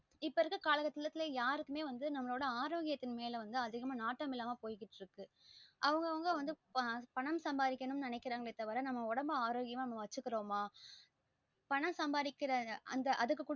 இப்போ இருக்குற கால கட்டத்துல யாருக்குமே வந்து நமளோட ஆரோக்கியத்த மேல வந்து அதிகமா நாட்டம் இல்லாம போய்க்கிட்டு இருக்கு அவங்க அவங்க வந்து பணம் சம்பாதிக்கணும் நினைககிரங்க தவிர நாம உடம்ப ஆரோக்யமா வச்சுக்ரோம பணம் சம்பாதிக்ற அந்த அதுக்கு கூட